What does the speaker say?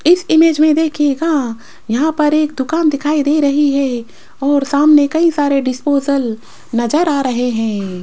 इस इमेज में देखिएगा यहां पर एक दुकान दिखाई दे रही है और सामने कई सारे डिस्पोसल नज़र आ रहे हैं।